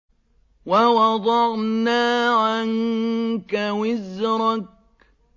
وَوَضَعْنَا عَنكَ وِزْرَكَ